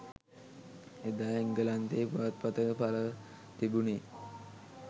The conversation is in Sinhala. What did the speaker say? එදා එංගලන්තයේ පුවත්පතක පළව තිබුණේ